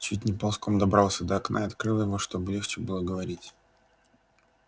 чуть не ползком добрался до окна и открыл его чтобы легче было говорить